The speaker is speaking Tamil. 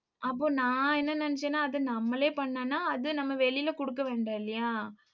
அப்போ நான் என்ன நினைச்சேன்னா அதை நம்மளே பண்ணோம்னா அது நம்ம வெளியிலே கொடுக்க வேண்டாம் இல்லையா